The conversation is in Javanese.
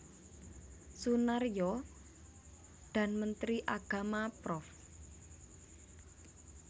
Soenarjo dan Menteri Agama Prof